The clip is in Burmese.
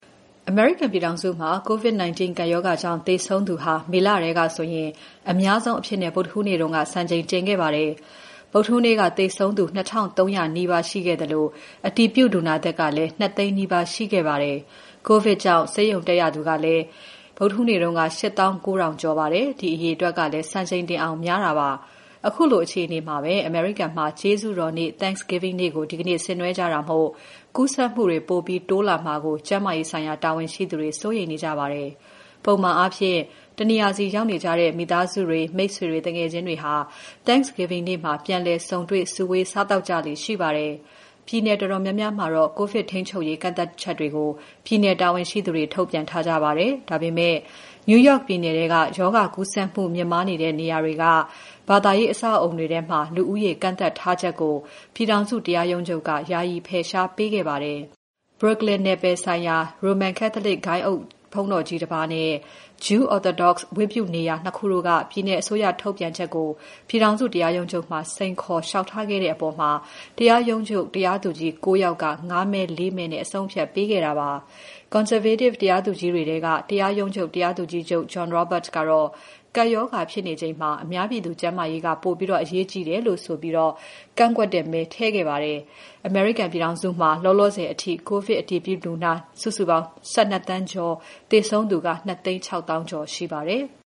အမေရိကန်ပြည်ထောင်စုမှာ COVID-19 ကပ်ရောဂါကြောင့် သေဆုံးသူဟာ မေလထဲကဆိုရင် အများဆုံးအဖြစ် ဗုဒ္ဓဟူးနေ့က စံချိန်တင်ခဲ့ပါတယ်။ ဗုဒ္ဓဟူးနေ့က သေဆုံးသူ ၂,၃၀၀ နီးပါးရှိခဲ့သလို အတည်ပြုလူနာသစ်ကလည်း ၂၀၀,၀၀၀ နီးပါးရှိခဲ့ပါတယ်။ ကိုဗစ်ရောဂါကြောင့် ဆေးရုံတက်ရသူကလည်း ဗုဒ္ဓဟူးနေ့က ၈၉,၀၀၀ ကျော်ပါတယ်။ ဒီအရေအတွက်ကလည်း စံချိန်တင်အောင်များပါတယ်။ ခုလိုအခြေအနေမှာပဲ အမေရိကန်မှာ ကျေးဇူးတော်နေ့ Thanksgiving ကို ဒီနေ့ဆင်နွဲကြတာမို့ ကူးစက်မှုတွေ ပိုပြီး တိုးလာမှာကို ကျန်းမာရေးဆိုင်ရာ တာဝန်ရှိသူတွေ စိုးရိမ်နေကြပါတယ်။ ပုံမှန်အားဖြင့် တနေရာစီ ရောက်နေကြတဲ့ မိသားစုတွေ၊ မိတ်ဆွေ သူငယ်ချင်းတွေဟာ Thanksgiving နေ့မှာ ပြန်လည်ဆုံတွေ့ စုဝေး စားသောက်ကြလေ့ရှိပါတယ်။ ပြည်နယ်တော်တော်များများမှာတော့ ကိုဗစ်ထိန်းချုပ်ရေး ကန့်သတ်ချက်တွေကို ပြည်နယ်တာဝန်ရှိသူတွေ ထုတ်ပြန်ထားကြပါတယ်။ ဒါပေမဲ့ New York ပြည်နယ်ထဲက ရောဂါကူးစက်မှုမြင့်တက်နေတဲ့နေရာတွေထဲက ဘာသာရေး အဆောက်အဦးတွေထဲ လူဦးရေ ကန့်သတ်ထားချက်ကို ပြည်ထောင်စု တရားရုံးချုပ်က ယာယီ်ဖယ်ရှားပေးခဲ့ပါတယ်။ Brooklyn နယ်ပယ်ဆိုင်ရာ Roman Catholic ဂိုဏ်းအုပ်ဘုန်းတော်ကြီးတပါးနဲ့ ဂျူး Orthodox ဝတ်ပြုနေရာ ၂ ခုတို့က ပြည်နယ်အစိုးရထုတ်ပြန်ချက်ကို ပြည်ထောင်စုတရားရုံးချုပ်မှာ စိန်ခေါ်လေ ျှာက်ထားခဲ့တဲ့အပေါ် တရားရုံးချုပ် တရားသူကြီး ၉ ယောက်က ၅ မဲ၊ ၄ မဲနဲ့ အဆုံးအဖြတ်ပေးခဲ့တာဖြစ်ပါတယ်။ တရားရုံးချုပ်ရဲ့ ကွန်ဆာဗေးတစ် တရားသူကြီးတွေထဲက တရားသူကြီးချုပ် John Roberts ကတော့ ကပ်ရောဂါဖြစ်နေချိန်မှာ အများပြည်သူကျန်းမာရေးက ပိုပြီးအရေးကြီးတယ်လို့ဆိုပြီး ကန့်ကွက်မဲထည့်ခဲ့ပါတယ်။ အမေရိကန်ပြည်ထောင်စုမှာ လောလောဆယ်အထိ ကိုဗစ်အတည်ပြုလူနာ စုစုပေါင်း ၁၂ သန်းကျော်၊ သေဆုံးသူက ၂၆၀,၀၀၀ ကျော်ရှိပါတယ်။